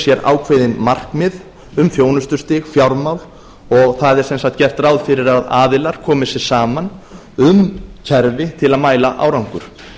sér ákveðin markmið um þjónustustig fjármál og það er sem sagt gert ráð fyrir að aðilar komi sér saman um kerfi til að mæla árangur